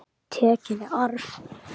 Tekin í arf.